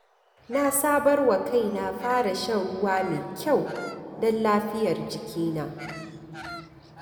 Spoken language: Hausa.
Na sabarwa kaina fara shan ruwa mai kyau don lafiyar jikina.